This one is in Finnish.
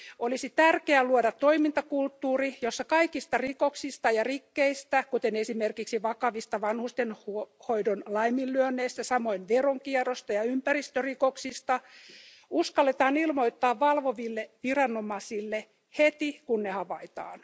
Olisi tärkeää luoda toimintakulttuuri, jossa kaikista rikoksista ja rikkeistä, kuten esimerkiksi vakavista vanhustenhoidon laiminlyönneistä, samoin veronkierrosta ja ympäristörikoksista, uskalletaan ilmoittaa valvoville viranomaisille heti kun ne havaitaan.